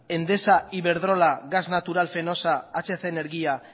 endesa iberdrola gas natural fenosa hc energía